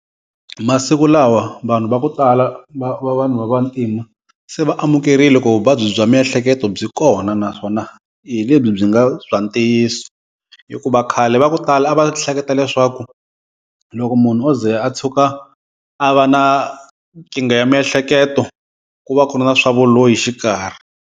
Masiku lawa vanhu va ku tala va vanhu va vantima se va amukerile ku vuvabyi bya miehleketo byi kona naswona hi lebyi byi nga bya ntiyiso. Hikuva khale va ku tala a va hleketa leswaku loko munhu o ze a tshuka a va na nkingha ya miehleketo ku va ku ri na swa vuloyi xikarhi.